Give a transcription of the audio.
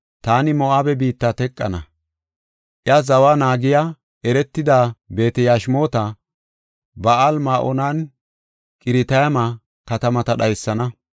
taani Moo7abe biitta teqana; iya zawa naagiya, eretida Beet-Yashimoota, Ba7aal-Ma7oonanne Qiratayma katamata dhaysana.